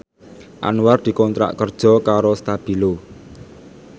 Anwar dikontrak kerja karo Stabilo